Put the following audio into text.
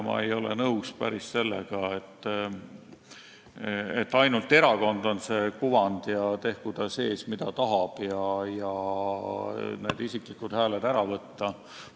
Ma ei ole päris nõus sellega, et ainult erakond on see kuvand ja tehku ta, mida tahab, selleks et isiklikud hääled ära võtta.